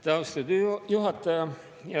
Aitäh, austatud juhataja!